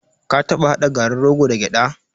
Ka taɓa haɗa garin rogo da gyaɗa?